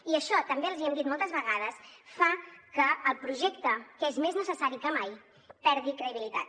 i això també els hi hem dit moltes vegades fa que el projecte que és més necessari que mai perdi credibilitat